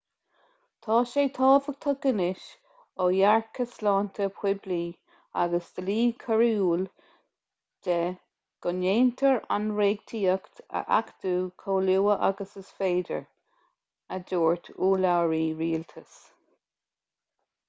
tá sé tábhachtach anois ó dhearcadh sláinte poiblí agus dlí coiriúil de go ndéantar an reachtaíocht a achtú chomh luath agus is féidir a dúirt urlabhraí rialtais